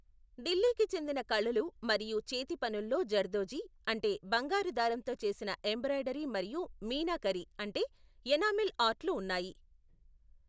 ఢిల్లీకి చెందిన కళలు మరియు చేతిపనుల్లో జర్దోజీ, అంటే బంగారు దారంతో చేసిన ఎంబ్రాయిడరీ మరియు మీనాకరి, అంటే ఎనామిల్ ఆర్ట్లు ఉన్నాయి.